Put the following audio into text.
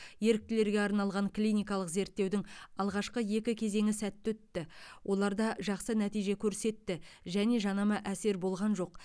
еріктілерге арналған клиникалық зерттеудің алғашқы екі кезеңі сәтті өтті оларда жақсы нәтиже көрсетті және жанама әсер болған жоқ